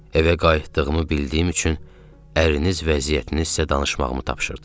Evə qayıtdığımı bildiyim üçün ərniz vəziyyətini sizə danışmağımı tapşırdı.